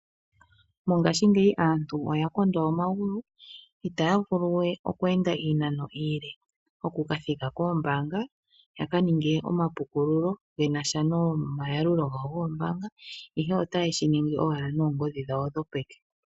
Mongashingeyi aantu oyakondwa omagulu itaya vulu we okweenda iinano iile okuka thika koombaanga yaka ninge omapuukululo shinasha nomayalulo gawo goombanga, ihe otaye shi ningi owala noongodhi dhawo dhopeke.